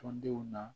Tɔndenw na